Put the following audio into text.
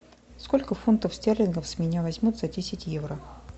сколько фунтов стерлингов с меня возьмут за десять евро